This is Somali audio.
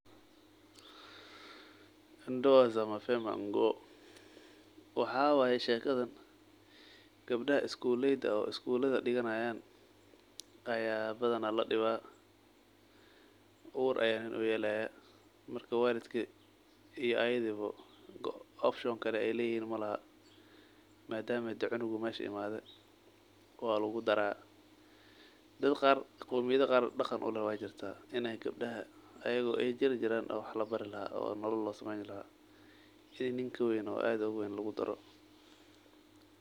Waxa waye shekada gabdaha skolada barta aya badan ladiba oo ur aya loyela marka waldki iyo ayadaba option kale malahan madama cunug imade meesha walugudare, dadka qar oo qomiyada qar daqan uleeh aya jiran iyado gabada lugudaro nin kaween.